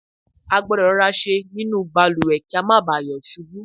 a gbọ́dọ̀ rọra ṣe nínú ìbalùwẹ̀ kí a má ba à yọ̀ ṣubú